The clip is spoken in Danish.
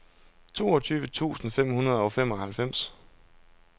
toogtyve tusind fem hundrede og femoghalvfems